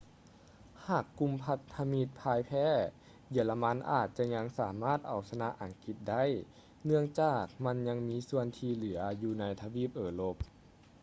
ຫາກກຸ່ມພັນທະມິດຜ່າຍແພ້ ເຢຍລະມັນອາດຈະຍັງສາມາດເອົາຊະນະອັງກິດໄດ້ ເນື່ອງຈາກມັນຍັງມີສ່ວນທີ່ເຫຼືອຢູ່ໃນທະວີບເອີຮົບ